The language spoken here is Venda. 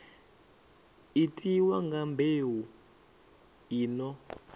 itiwa nga mbeu i no